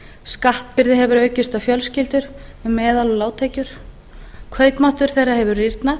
skattbyrði hefur aukist á fjölskyldur á meðal og lágtekjur kaupmáttur þeirra hefur rýrnað